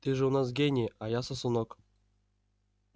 ты же у нас гений а я сосунок